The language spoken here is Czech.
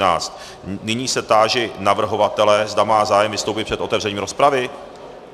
Nyní se táži navrhovatele, zda má zájem vystoupit před otevřením rozpravy.